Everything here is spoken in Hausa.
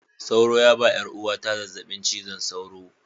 Sauro ya ba 'yar uwata zazzabin cizon sauro